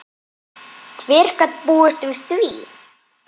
Hver gat búist við því?